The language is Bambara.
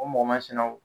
O mɔgɔ masinaw